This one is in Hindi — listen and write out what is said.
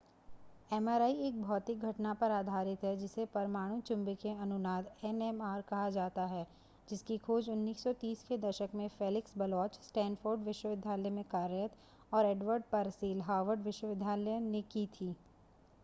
एमआरआई एक भौतिकी घटना पर आधारित है जिसे परमाणु चुंबकीय अनुनाद एनएमआर कहा जाता है जिसकी खोज 1930 के दशक में फ़ेलिक्स बलोच स्टैनफ़ोर्ड विश्वविद्यालय में कार्यरत और एडवर्ड परसेल हार्वर्ड विश्वविद्यालय ने की थी